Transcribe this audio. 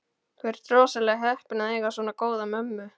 Þú ert rosalega heppinn að eiga svona góða mömmu.